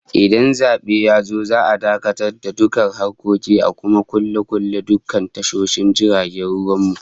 Idan zabe yazo, za'a dakatar da dukkan harkoki a kuma kulle kulle dukkan tashoshin jiragen ruwan mu